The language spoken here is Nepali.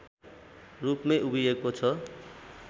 रूपमै उभिएको छ